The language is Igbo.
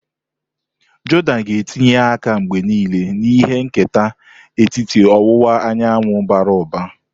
Jordan ga na etinye aka mgbe niile na ihe nketa etiti ọwụwa anyanwụ bara ụba.